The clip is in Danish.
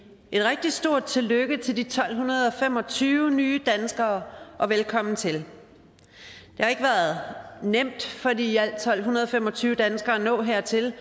et rigtig stort tillykke til de tolv fem og tyve nye danskere og velkommen til det har ikke været nemt for de i alt tolv fem og tyve danskere at nå hertil